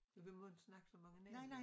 Du vi må ikke snakke så mange navne